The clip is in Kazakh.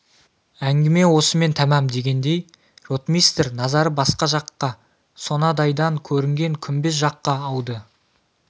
әңгіме осымен тәмәм дегендей ротмистр назары басқа жаққа сонадайдан көрінген күмбез жаққа ауды